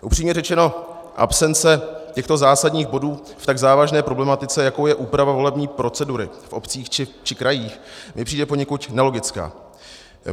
Upřímně řečeno, absence těchto zásadních bodů v tak závažné problematice, jakou je úprava volební procedury v obcích či krajích, mi přijde poněkud nelogická.